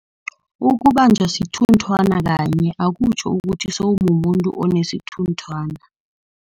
Ukubanjwa sithunthwana kanye akutjho ukuthi sewumumuntu onesithunthwana.